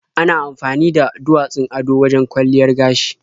Ana amfani da duwatsun ado wajen kwalliyar gashi.